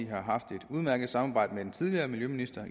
har haft et udmærket samarbejde med den tidligere miljøminister